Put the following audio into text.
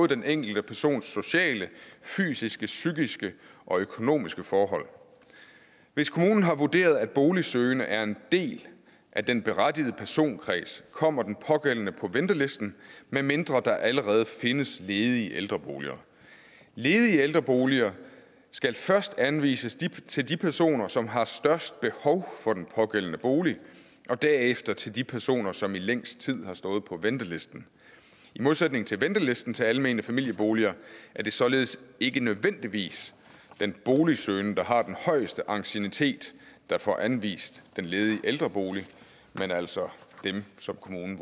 den enkelte persons både sociale fysiske psykiske og økonomiske forhold hvis kommunen har vurderet at en boligsøgende er en del af den berettigede personkreds kommer den pågældende på ventelisten medmindre der allerede findes ledige ældreboliger ledige ældreboliger skal først anvises til de personer som har det største behov for den pågældende bolig og derefter til de personer som i længst tid har stået på ventelisten i modsætning til ventelisten til almene familieboliger er det således ikke nødvendigvis den boligsøgende der har den højeste anciennitet der får anvist den ledige ældrebolig men altså dem som kommunen